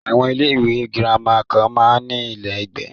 Àwọn ilé ìwé gírámà kan máa ń ní ilé ìgbé.